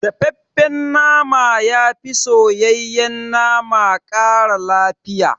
Dafaffen nama yafi soyayyen nama ƙara lafiya